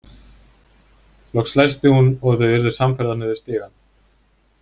Loks læsti hún og þau urðu samferða niður stigann.